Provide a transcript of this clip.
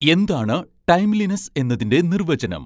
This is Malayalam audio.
എന്താണ് 'ടൈംലിനെസ്സ്' എന്നതിന്റെ നിർവചനം